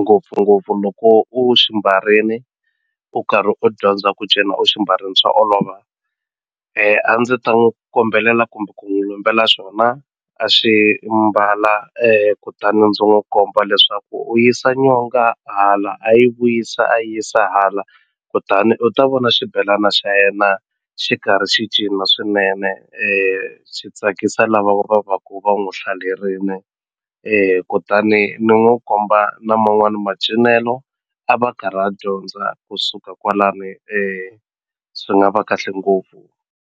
ngopfungopfu loko u xi mbarini u karhi u dyondza ku cina u xi mbarini swa olova a ndzi ta n'wi kombelela kumbe ku n'wi lombela xona a xi mbala kutani ndzi n'wi komba leswaku u yisa nyonga hala a yi vuyisa a yi yisa hala kutani u ta vona xibelana xa yena xi karhi xi cina swinene swi tsakisa lava va va ku va n'wi hlalerini kutani ni n'wi komba na man'wani macinelo a va karhi a dyondza kusuka kwalani swi nga va kahle ngopfu.